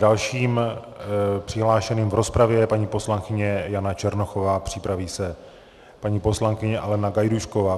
Dalším přihlášeným v rozpravě je paní poslankyně Jana Černochová, připraví se paní poslankyně Alena Gajdůšková.